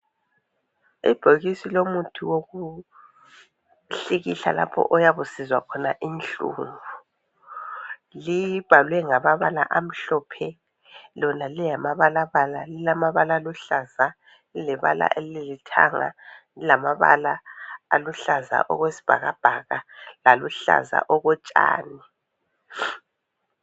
Ibhokisi lomuthi wokuhlikihla lapho oyabe usizwa khona inhlungu. Libhalwe ngamabala amhlophe lona lingamabalabala. Lilamabala aluhlaza, lilebala elikithanga. Lilamabala aluhlaza okwesibhakabhaka laluhlaza okotshani.